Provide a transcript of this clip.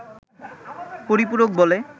পরিপূরক বলে